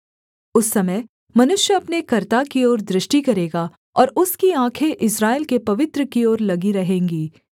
उस समय मनुष्य अपने कर्ता की ओर दृष्टि करेगा और उसकी आँखें इस्राएल के पवित्र की ओर लगी रहेंगी